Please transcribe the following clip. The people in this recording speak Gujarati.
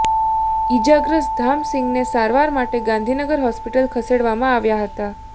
ઇજાગ્રસ્ત ધામસિંગને સારવાર માટે ગાંધીનગર હોસ્પિટલ ખસેડવામાં આવ્યા હતા